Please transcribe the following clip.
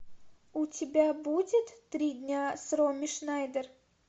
у тебя будет три дня с роми шнайдер